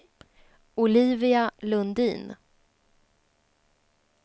Olivia Lundin